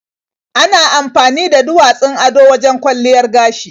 Ana amfani da duwatsun ado wajen kwalliyar gashi.